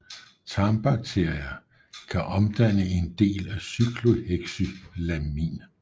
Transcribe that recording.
Tarmbakterier kan omdanne en del af cyclohexylamin